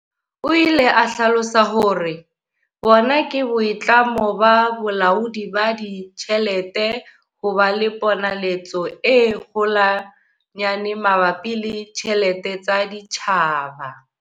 O ile a hlalosa hore- Bona ke boitlamo ba Bolaodi ba Ditjhelete ho ba le ponaletso e kgolwanyane mabapi le ditjhelete tsa setjhaba.